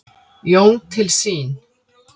Jón til sín.